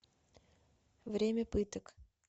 время пыток